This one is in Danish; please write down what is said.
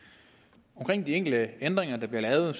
med de enkelte ændringer der bliver lavet